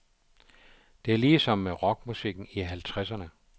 Det er ligesom med rockmusikken i halvtredserne.